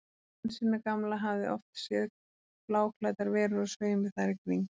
Hansína gamla hafði oft séð bláklæddar verur á sveimi þar í kring.